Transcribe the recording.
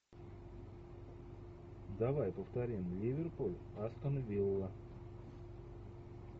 давай повторим ливерпуль астон вилла